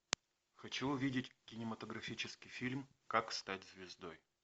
хочу увидеть кинематографический фильм как стать звездой